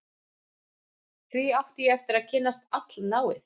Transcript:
Því átti ég eftir að kynnast allnáið